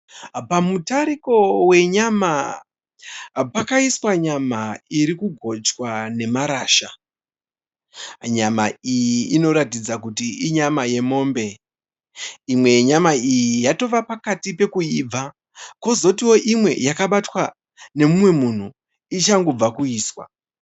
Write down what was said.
Pamutariko wenyama. Pakaiswa nyama irikugochwa nemarasha. Nyama iyi inoratidza kuti inyama yemombe. Imwe yenyama iyi yatova pakati pekuibva kwozotiwo imwe yakabatwa nemunhu ichangobva kuiswa.